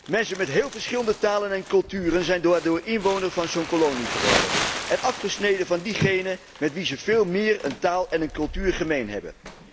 Mensen met heel verschillende talen en culturen zijn daardoor inwoner van zo'n kolonie geworden en afgesneden van diegenen met wie ze veel meer een taal en een cultuur gemeen hebben.